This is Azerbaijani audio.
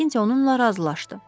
Makinti onunla razılaşdı.